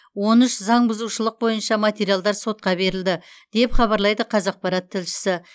он үш заң бұзушылық бойынша материалдар сотқа берілді деп хабарлайды қазақпарат тілшісі